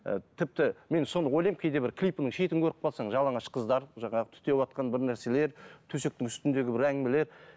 ы тіпті мен соны ойлаймын кейде бір клипінің шетін көріп қалсаң жалаңаш қыздар жаңағы түтеп жатқан бір нәрселер төсектің үстіндегі бір әңгімелер